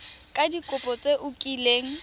ka dikopo tse o kileng